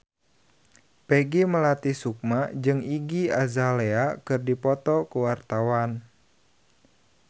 Peggy Melati Sukma jeung Iggy Azalea keur dipoto ku wartawan